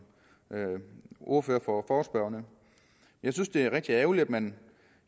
ordfører for forespørgerne jeg synes det er rigtig ærgerligt at man